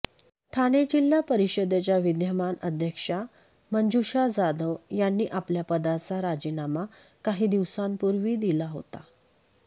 ठाणे जिल्हा परिषदेच्या विद्यमान अध्यक्षा मंजुषा जाधव यांनी आपल्या पदाचा राजीनामा काही दिवसांपूर्वी दिला होता